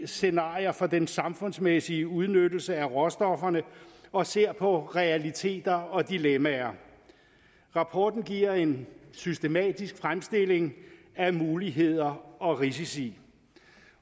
scenarier for den samfundsmæssige udnyttelse af råstofferne og ser på realiteter og dilemmaer rapporten giver en systematisk fremstilling af muligheder og risici